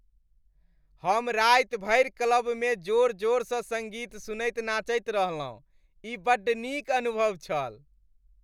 हम राति भरि क्लबमे जोर जोरसँ सङ्गीत सुनैत नाचैत रहलहुँ। ई बड्ड नीक अनुभव छल।